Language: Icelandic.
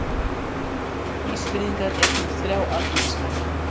Ísfirðingar eignast þrjá alþingismenn.